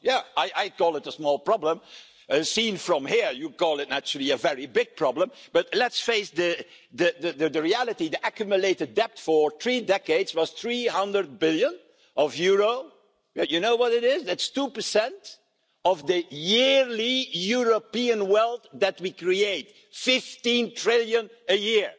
I call it a small problem and, from another perspective, Mr Tsipras, you naturally call it a very big problem, but let's face the reality the accumulated debt of three decades was EUR 300 billion. You know what that is it is 2 of the yearly European wealth that we create, EUR 15 trillion a